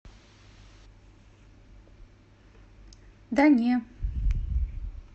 да не